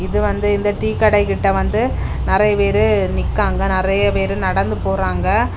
இது வந்து இந்த டீக்கடை கிட்ட வந்து நெறைய பேரு நிக்காங்க நெறைய பேரு நடந்து போறாங்க.